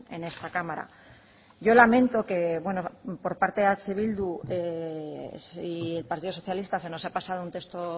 en esta cámara yo lamento que por parte de eh bildu y el partido socialista se nos ha pasado un texto